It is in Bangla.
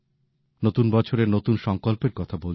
নতুন বছরের নতুন সংকল্পের কথা বলছিলাম